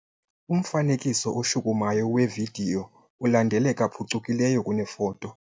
Umfanekiso oshukumayo wevidiyo ulandeleka phucukileyo kunefoto.